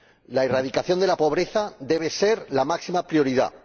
La erradicación de la pobreza debe ser la máxima prioridad.